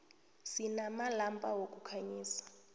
sinamalampa wokukhanyisa